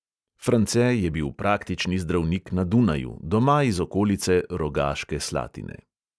France je bil praktični zdravnik na dunaju, doma iz okolice rogaške slatine.